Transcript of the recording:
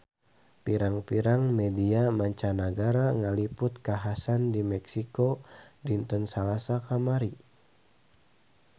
Pirang-pirang media mancanagara ngaliput kakhasan di Meksiko dinten Salasa kamari